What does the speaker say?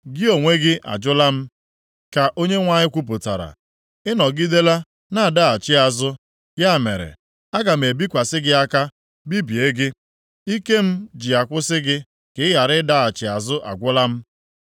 Gị onwe gị ajụla m,” ka Onyenwe anyị kwupụtara. “Ị nọgidela na-adaghachi azụ. Ya mere, aga m ebikwasị gị aka, bibie gị. Ike m ji akwụsị gị ka ị ghara ịdaghachi azụ agwụla m. + 15:6 Agaghị m enwekwa ọmịiko nʼebe ị nọ ọzọ